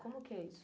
Como que é isso?